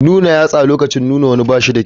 Nuna yatsa lokacin nuna wani ba shi da kyau.